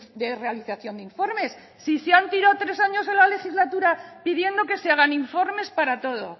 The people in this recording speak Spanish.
de realización de informes si se han tirado tres años de la legislatura pidiendo que se hagan informes para todo